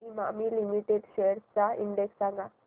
Emami limited shares चा index सांगा